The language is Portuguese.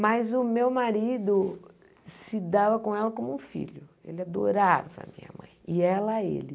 Mas o meu marido se dava com ela como um filho, ele adorava a minha mãe, e ela a ele.